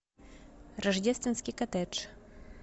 рождественский коттедж